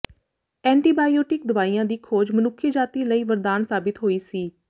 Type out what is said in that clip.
antibiotic ਦਵਾਈਆਂ ਦੀ ਖੋਜ ਮਨੁੱਖੀ ਜਾਤੀ ਲਈ ਵਰਦਾਨ ਸਾਬਿਤ ਹੋਈ ਸੀ